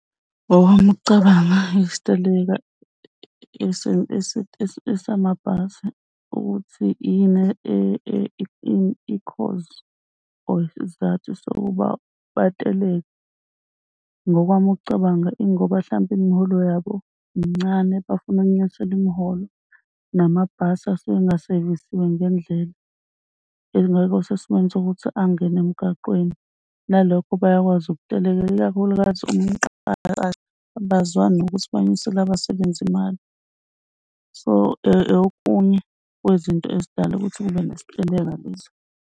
Ngokwami ukucabanga isiteleka esamabhasi ukuthi yini eyikhozi or isizathu sokuba bateleke ngokwami ukucabanga ingoba mhlawumbe imiholo yabo mincane, bafuna ukwenyuselwa imiholo namabhasi asuke engasevisiwe ngendlela. Engekho sesimweni sokuthi angene emgaqweni nalokho bayakwazi ukukutelekela ikakhulukazi uma umqashi abazwani nokuthi banyusele abasebenzi imali. So, okunye kwezinto ezidala ukuthi kube nesiteleka lezo.